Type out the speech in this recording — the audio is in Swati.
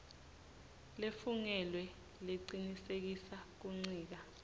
lefungelwe lecinisekisa kuncika